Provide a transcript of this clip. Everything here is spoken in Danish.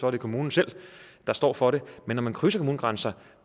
er kommunen selv der står for det men når man krydser kommunegrænser